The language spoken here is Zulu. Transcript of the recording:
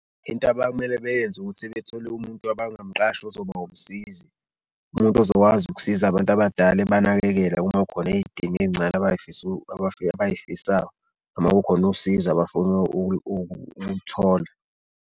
Into kmele beyenze ukuthi bethole umuntu abangamqasha ozoba umsizi. Umuntu ozokwazi ukusiza abantu abadala ebanakekele uma kukhona idinga ey'ncane abayifisa abayifisayo noma kukhona usizo abafuna ukulithola.